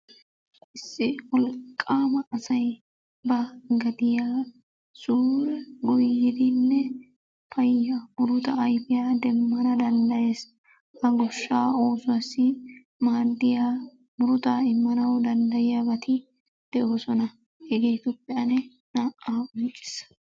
Issi wolqqaama asay ba gadiya suure goyyidinne payya muruta ayifiya demmana danddayes. Ha goshshaa oosuwassi maaddiya murutaa immanawu danddayiyabati de'oosona. Hegeetuppe ane naa"aa qonccissa.